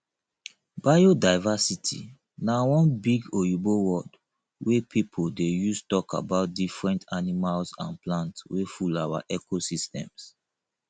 biodiversity na one big oyibo word wey pipo dey use talk about different animal and plant wey full our ecosystems